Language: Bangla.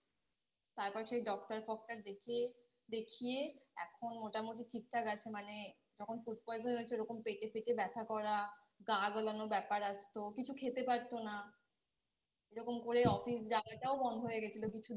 তারপর সেই Doctor doctor দেখিয়ে দেখিয়ে এখন মোটামোটি ঠিকঠাক আছে মানে যখন Food poison হয়েছে ওরকম পেটে ফেটে ব্যাথা করা গা গোলানো ব্যাপার আছে তো কিছু খেতে পারতো না এরকম করে Office যাওয়াটাও বন্ধ হয়ে গেছিলো কিছু দিনের জন্য